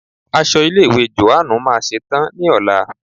Aṣọ ilé ìwé Jòhánù máa ṣe tán ní ọ̀la.